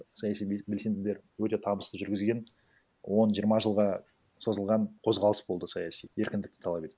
саяси белсенділер өте табысты жүргізген он жиырма жылға созылған қозғалыс болды саяси еркіндікті талап етті